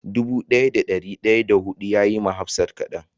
Dubu daya da dari daya da hudun ya yi ma hafsat kadan.